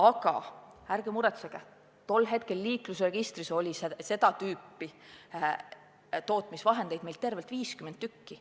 Aga ärge muretsege, tol hetkel oli meie liiklusregistris seda tüüpi tootmisvahendeid tervelt 50 tükki.